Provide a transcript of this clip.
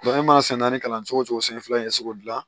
e ma san naani kalan cogo cogo san fila in ka se k'o gilan